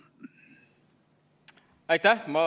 Aitäh!